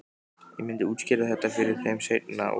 Ég myndi útskýra þetta fyrir þeim seinna- og